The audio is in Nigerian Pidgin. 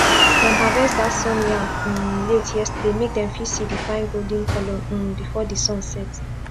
dem harvest dat sun yam um late yesterday make dem fit see di fine golden color um before di sun set